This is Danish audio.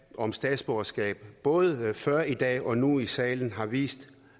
om statsborgerskab både før i dag og nu i salen har vist